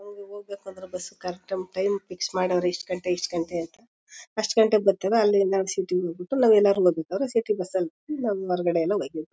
ಹೋಗಿ ಹೋಗ್ಬೇಕಾದ್ರೆ bus correct time time fix ಮಾಡವ್ರೆ ಇಷ್ಟ್ ಗಂಟೆ ಇಷ್ಟ್ ಗಂಟೆ ಅಂತ. ಅಷ್ಟ್ ಗಂಟೆಗ್ ಬರ್ತವೆ ಅಲ್ಲಿಂದ ನಾವ್ ಸಿಟಿ ಹೋಗ್ಬಿಟ್ಟು ನಾವೆಲ್ಲರೂ ಹೋಗ್ಬೇಕಾದ್ರೆ ಸಿಟಿ ಬಸ್ ಅಲ್ ಹೋಯ್ತಿವ್ ಹೊರಗಡೆ ಎಲ್ಲ--